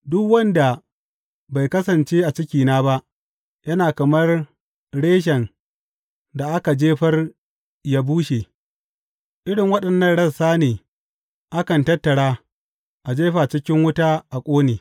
Duk wanda bai kasance a cikina ba, yana kamar reshen da aka jefar yă bushe; irin waɗannan rassan ne akan tattara, a jefa cikin wuta a ƙone.